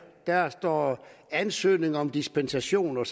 der står ansøgning om dispensation og